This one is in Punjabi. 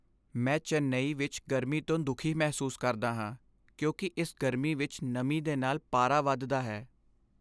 ਮੈਂ ਚੇਨਈ ਵਿੱਚ ਗਰਮੀ ਤੋਂ ਦੁਖੀ ਮਹਿਸੂਸ ਕਰਦਾ ਹਾਂ ਕਿਉਂਕਿ ਇਸ ਗਰਮੀ ਵਿੱਚ ਨਮੀ ਦੇ ਨਾਲ ਪਾਰਾ ਵੱਧਦਾ ਹੈ।